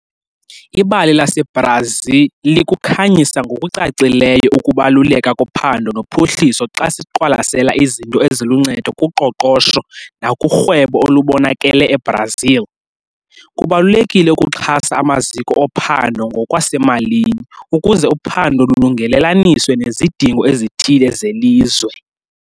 Ibali laseBrazi likukhanyisa ngokucacileyo ukubaluleka kophando nophuhliso xa siqwalasela izinto eziluncedo kuqoqosho nakurhwebo olubonakele eBrazil. Kubalulekile ukuxhasa amaziko ophando ngokwasemalini, ukuze uphando lulungelelaniswe nezidingo ezithile zelizwe.